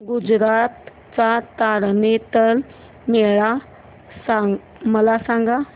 गुजरात चा तारनेतर मेळा मला सांग